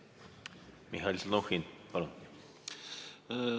Mihhail Stalnuhhin, palun!